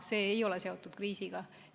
See ei ole seotud kriisiga.